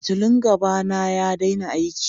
Fitillun gaba na ya daina aiki.